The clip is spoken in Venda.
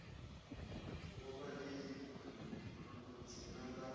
vhuvha ḽeibu ḽu dzina ḽa